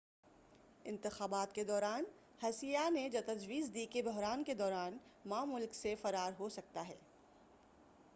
انتخابات کے دوران ہسییہ نے تجویزدی کہ بحران کے دوران ما ملک سے فرار ہو سکتا ہے